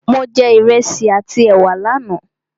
Mo jẹ Ìrẹsi àti ẹ̀wà lánà